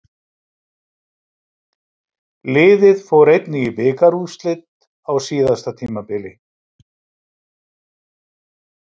Liðið fór einnig í bikarúrslit á síðasta tímabili.